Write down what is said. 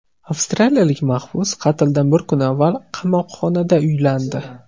Avstraliyalik mahbus qatldan bir kun avval qamoqxonada uylandi.